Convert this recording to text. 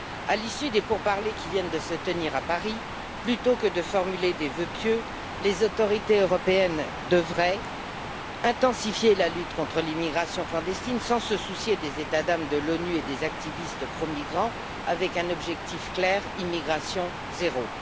À l'issue des pourparlers qui viennent de se tenir à Paris, plutôt que de formuler des vœux pieux, les autorités européennes devraient intensifier la lutte contre l'immigration clandestine sans se soucier des états d'âme de l'ONU et des activistes pro migrants, avec un objectif clair immigration zéro.